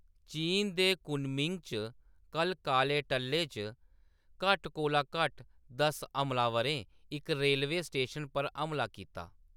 चीन दे कुनमिंग च कल्ल काले टल्ले च घट्ट कोला घट्ट दस हमलावरें इक रेलवे स्टेशन पर हमला कीता।